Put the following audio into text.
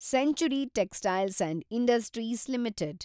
century Textiles and Industries limited